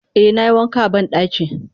Eh nayi wanka a bandaki.